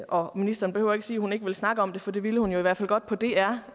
og ministeren behøver ikke sige at hun ikke vil snakke om det for det ville hun jo i hvert fald godt på dr